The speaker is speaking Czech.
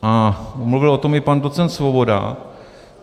A mluvil o tom i pan docent Svoboda.